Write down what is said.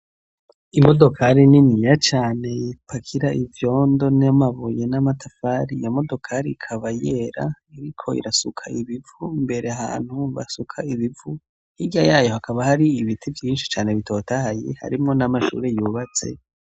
Imodokari niniya cane ipakira ivyondo n'amabuye n'amatafari, iyo modokari ikaba yera, iriko irasuka ibivu, imbere ahantu basuka ibivu, hirya yayo hakaba hari ibiti vyinshi cane bitotahaye, harimwo n'amashure yubatse.